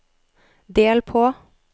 del på